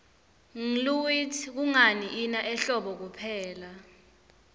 ngluitsi kungani ina ehlobo kuphela